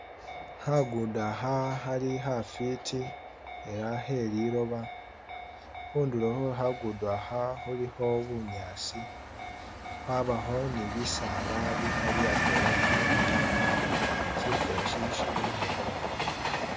Khagudo akha khali khafwiti ela kheliloba, khundulo khwe khagudo kha khalikho bunyaasi, khwabako ni bisaala bikhali atwela atwela ta, shifo eshi shibonekha bulayi.